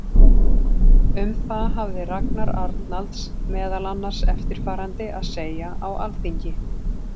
Um það hafði Ragnar Arnalds meðal annars eftirfarandi að segja á Alþingi